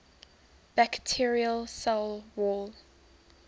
bacterial cell wall